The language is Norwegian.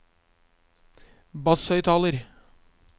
basshøyttaler